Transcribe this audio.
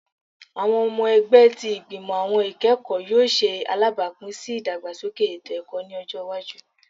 Awọn ọmọ ẹgbẹ ti Igbimọ Awọn Ikẹkọ yoo ṣe alabapin si idagbasoke eto-ẹkọ ni ọjọ iwaju